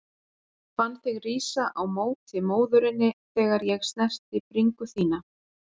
Fann þig rísa á móti móðurinni þegar ég snerti bringu þína.